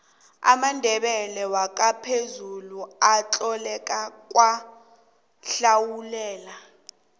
amandebele wakwamphezulu atholakala kwadlawulale